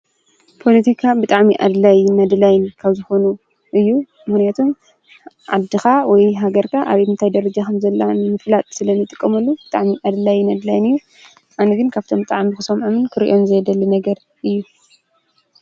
ጶሎቲካ ብጥዕሚ ኣድላይ ነድላይን ካብዝኾኑ እዩ ምሕነቱም ዓድኻ ወይ ሃገርካ ኣብምንታይ ደረጀኸም ዘላን ፍላጥ ስለኒይ ጥቀመሉ ብጣዕሚ ዕድላይ ነድላይን እዩ ኣነግን ካብቶም ጥዓሚ ክሶምዓምን ክርእዮም ዘየደሊ ነገር እዩ